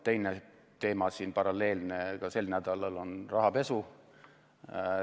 Teine teema, paralleelne, on ka sel nädalal rahapesu.